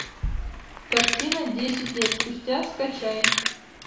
картина десять лет спустя скачай